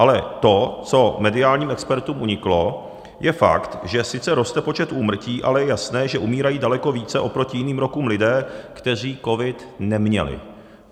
Ale to, co mediálním expertům uniklo, je fakt, že sice roste počet úmrtí, ale je jasné, že umírají daleko více oproti jiným rokům lidé, kteří covid neměli.